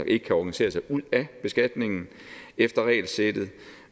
ikke kan organisere sig ud af beskatningen efter regelsættet